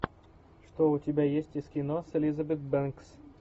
что у тебя есть из кино с элизабет бэнкс